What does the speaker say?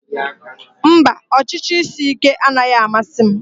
Mba, ọchịchị isi ike anaghị amasị m